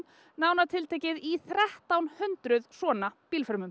nánar tiltekið í þrettán hundruð svona